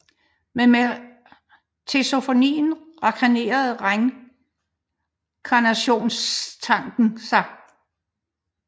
Men med teosofien reinkarnerede reinkarnationstankens sig